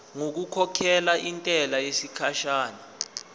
ngokukhokhela intela yesikhashana